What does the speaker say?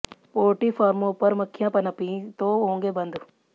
poultry फार्मों पर मक्खियां पनपीं तो होंगे बंद